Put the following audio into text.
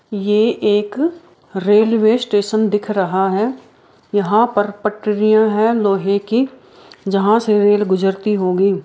ये एक railway station दिख रहा है यहाँ पर पटरियाँ है लोहे की जहाँ से रेल गुजरती होगी--